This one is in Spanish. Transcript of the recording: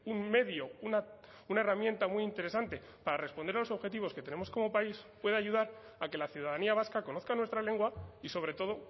un medio una herramienta muy interesante para responder a los objetivos que tenemos como país puede ayudar a que la ciudadanía vasca conozca nuestra lengua y sobre todo